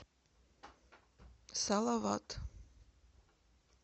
салават